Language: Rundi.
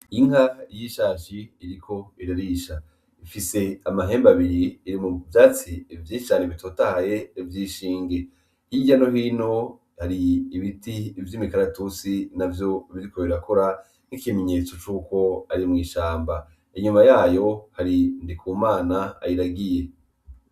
Inka yishashi iriko irarisha, ifise amahembe abiri, iri mu vyatsi vyinshi cane bitotahaye vy'inshinge, hirya no hino hari ibiti vy'imikaratusi navyo biriko birakura n'ikimenyetso ko ari mw'ishamba, inyuma yayo hari Ndikumana ayiragiye.